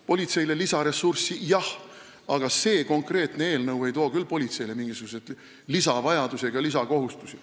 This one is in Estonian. Politseile on lisaressurssi vaja jah, aga see konkreetne eelnõu ei too küll politseile mingisuguseid lisavajadusi ega -kohustusi.